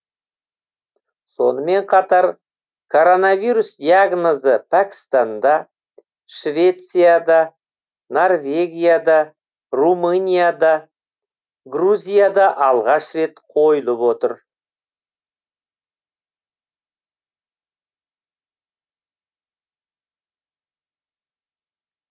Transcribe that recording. сонымен қатар коронавирус диагнозы пәкістанда швецияда норвегияда румынияда грузияда алғаш рет қойылып отыр